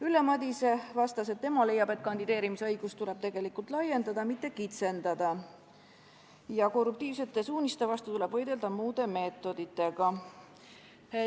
Ülle Madise vastas, et tema leiab, et kandideerimisõigust tuleb tegelikult laiendada, mitte kitsendada, ja korruptiivsete suuniste vastu tuleb võidelda muude meetoditega.